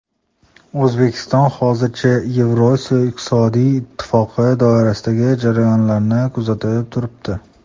O‘zbekiston hozircha Yevrosiyo iqtisodiy ittifoqi doirasidagi jarayonlarni kuzatib turibdi.